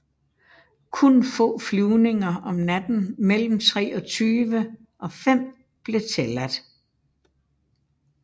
Kun få flyvninger om natten mellem 23 og 5 blev tilladt